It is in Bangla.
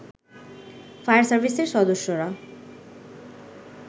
ফায়ার সার্ভিসের সদস্যরা